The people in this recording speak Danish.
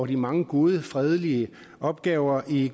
de mange gode fredelige opgaver i